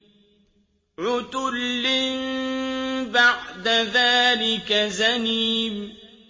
عُتُلٍّ بَعْدَ ذَٰلِكَ زَنِيمٍ